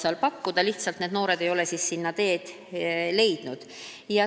Võib-olla ei ole need noored sinna lihtsalt teed leidnud.